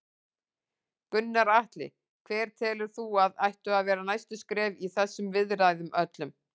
Gunnar Atli: Hver telur þú að ættu að vera næstu skref í þessum viðræðum öllum?